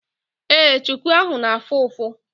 Ee, chuku ahụ na-afụ ụfụ.